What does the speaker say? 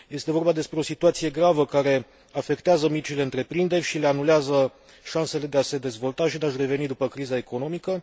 Este vorba despre o situație gravă care afectează micile întreprinderi și le anulează șansele de a se dezvolta și de a și reveni după criza economică.